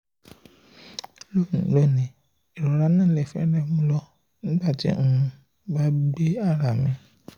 loni irora naa fẹrẹ mu mi lọ sile nigbati um mo n gbe ara um mi